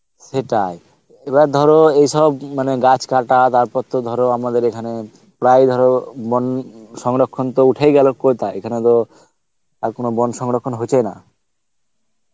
সেটাই এবার ধরো এই সপ্তাহ মানে গাছ কাটা তারপর তো ধরো আমাদের এখানে, প্রায়ই ধর বন সংরক্ষণ তো উঠেই গেল কোথায় এখানে তো আর কোনো বোন সংরক্ষণ হচ্ছেই না